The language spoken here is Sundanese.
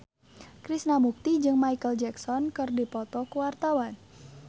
Krishna Mukti jeung Micheal Jackson keur dipoto ku wartawan